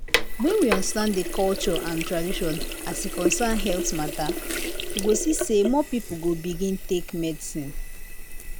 when we understand the culture and tradition as e concern health matter we go see say more people go begin take medicine